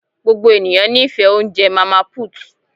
Gbogbo ènìyàn n'ifẹ oúnjẹ màmá put.